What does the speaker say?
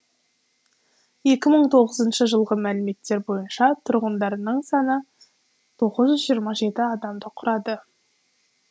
екі мың тоғызыншы жылғы мәліметтер бойынша тұрғындарының саны тоғыз жүз жиырма жеті адамды құрады